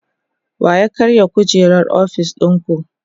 wa ya karya kujerar ofis ɗinku?